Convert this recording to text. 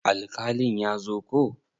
Alkalin ya zo ko?